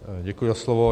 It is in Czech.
Děkuji za slovo.